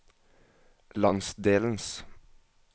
landsdelens